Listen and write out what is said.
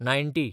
ninety